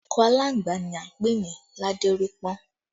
Akọ aláǹgbá ni a ń pè ní ládérípọ́n